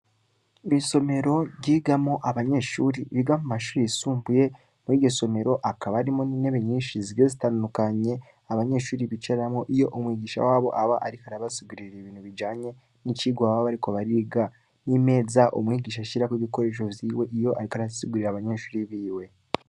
Isomero ryigamwo abanyeshure biga mumashure yisumbuye muriryo somero hakaba harimwo intebe nyinshi zigiye zitandukanye abanyeshure bicaramwo iyo umwigisha wabo aba ariko arabasigurira ibintu bijanye nicirwa baba bariko bariga nimeza umwigisha ashirako ibikoresho vyiwe ariko arasigurira abanyeshure biwe